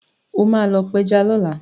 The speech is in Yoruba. O máa lọ pẹja lọ́la.